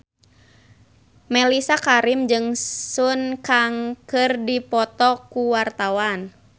Mellisa Karim jeung Sun Kang keur dipoto ku wartawan